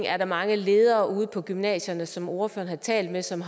er mange ledere ude på gymnasierne som ordføreren har talt med som